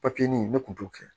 Papiye ɲini ne kun t'o kɛ